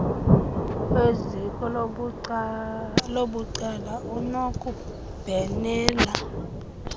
weziko labucala unokubhenela